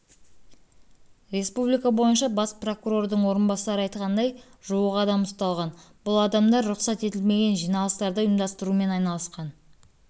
республика бойынша бас прокурордың орынбасары айтқандай жуық адам ұсталған бұл адамдар рұқсат етілмеген жиналыстарды ұйымдастырумен айналысқан